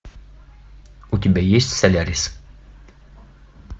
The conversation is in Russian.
у тебя есть солярис